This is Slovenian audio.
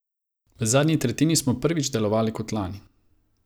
V zadnji tretjini smo prvič delovali kot lani.